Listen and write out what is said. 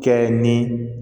Kɛ ni